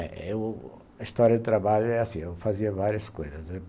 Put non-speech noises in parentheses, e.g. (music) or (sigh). (unintelligible) A história de trabalho é assim, eu fazia várias coisas.